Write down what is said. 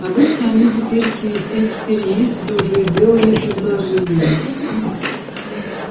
обычно они теперь через три-четыре месяца уже делали предложение